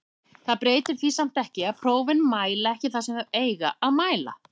Það breytir því samt ekki að prófin mæla ekki það sem þau eiga að mæla.